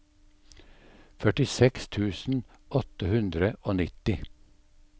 førtiseks tusen åtte hundre og nitti